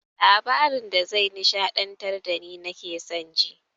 Labarin da ze nishaɗantar dani nake son ji